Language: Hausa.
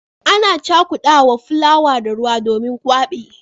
Ana cakudawa fulawa da ruwa domin gwabi.